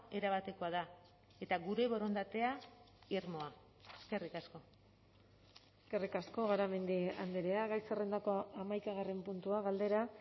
erabatekoa da eta gure borondatea irmoa eskerrik asko eskerrik asko garamendi andrea gai zerrendako hamaikagarren puntua galdera